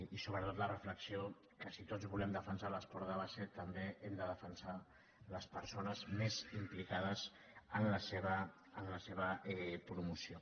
i sobretot la reflexió que si tots volem defensar l’esport de base també hem de defensar les persones més implicades en la seva promoció